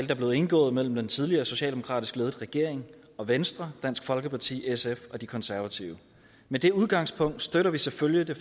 der blev indgået mellem den tidligere socialdemokratisk ledede regering venstre dansk folkeparti sf og de konservative med det udgangspunkt støtter vi selvfølgelig det